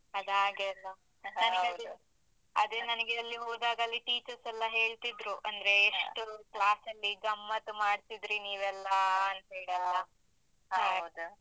ಅದಾಗೆ ಅಲ್ಲ. ಅದೇ ನನಿಗೆ ಅಲ್ಲಿ ಹೋದಾಗ ಅಲ್ಲಿ teachers ಎಲ್ಲ ಹೇಳ್ತಿದ್ರು. ಎಷ್ಟು class ಅಲ್ಲಿ ಗಮ್ಮತ್ತು ಮಾಡ್ತಿದ್ರಿ.